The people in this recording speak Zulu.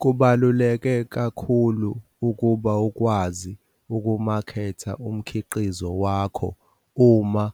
Kubaluleke kakhulu ukuba ukwazi ukumaketha umkhiqizo wakho uma